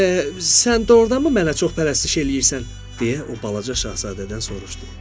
Sən doğurdanmı mənə çox pərəstiş eləyirsən, deyə o balaca şahzadədən soruşdu.